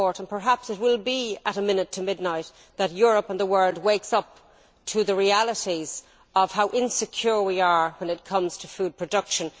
Perhaps it will be at a minute to midnight that Europe and the world wake up to the realities of how insecure we are when it comes to food production.